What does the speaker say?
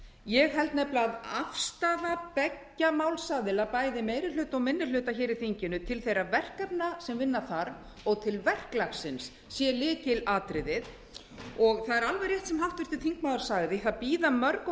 ég held að afstaða beggja málsaðila bæði meiri hluta og minni hluta í þinginu til þeirra verkefna sem vinna þarf og til verklagsins sé lykilatriðið það er alveg rétt sem háttvirtur þingmaður sagði að það bíða mörg og